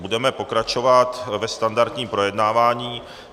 Budeme pokračovat ve standardním projednávání.